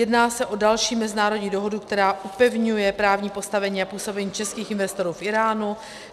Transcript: Jedná se o další mezinárodní dohodu, která upevňuje právní postavení a působení českých investorů v Íránu.